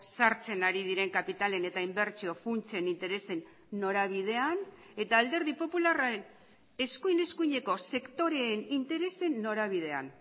sartzen ari diren kapitalen eta inbertsio funtsen interesen norabidean eta alderdi popularraren eskuin eskuineko sektoreen interesen norabidean